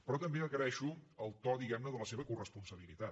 però també agraeixo el to diguem ne de la seva coresponsabilitat